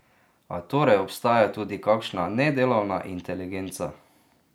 A torej obstaja tudi kakšna nedelovna inteligenca?